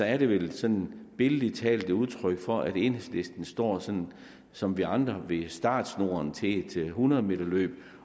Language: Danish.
er det vel sådan billedligt talt udtryk for at enhedslisten står sådan som vi andre ved startsnoren til et hundrede meterløb